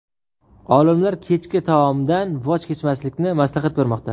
Olimlar kechki taomdan voz kechmaslikni maslahat bermoqda.